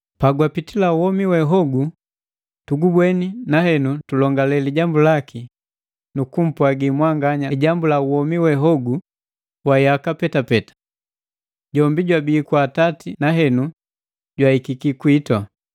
Pagwapitila womi we hogu tugubweni na henu tulongale lijambu laki nu kumpwagi mwanganya lijambu la womi we hogu wa yaka petapeta. Jombi jwabii kwa Atati na henu jwahikiki kwitu.